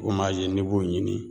U m'a ze n'i b'u ɲini